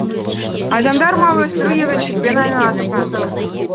адамдар мал өсіру егіншілікпен айналысқан